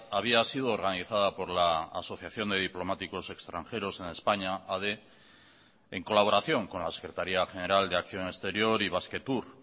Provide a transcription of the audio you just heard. había sido organizada por la asociación de diplomáticos extranjeros en españa ade en colaboración con la secretaría general de acción exterior y basquetour